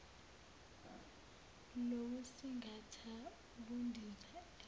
lokusingatha ukundiza fms